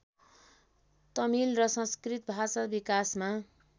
तमिल र संस्कृत भाषा विकासमा